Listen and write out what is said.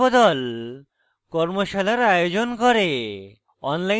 কর্মশালার আয়োজন করে